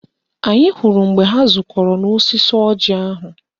Anyị hụrụ mgbe ha zukọrọ n'osisi ọjị ahụ